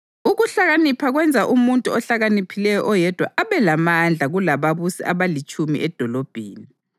Ukuhlakanipha kwenza umuntu ohlakaniphileyo oyedwa abe lamandla kulababusi abalitshumi edolobheni.